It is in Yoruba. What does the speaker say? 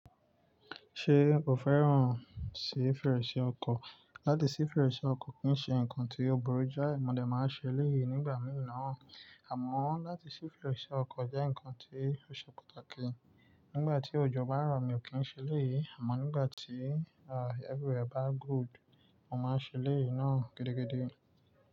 Ṣe ò fẹ́ràn sí fèrèsé ọkọ̀? Láti sí fèrèsé ọkọ̀ kì í ṣe nǹkan tí ó burú jáì, mo dẹ̀ máa ń ṣe eléyìí nígbà mìíràn, àmọ́ láti ṣí fèrèsé ọkọ̀ jẹ́ nǹkan tí ó ṣe pàtàkì. Nígbà tí òjò bá rọ̀, mi ò kí ń ṣe léyìí, àmọ́ nígbà tí, ah, everywhere bá gúùd, mo máa ṣe eléyìí náà gidigidi.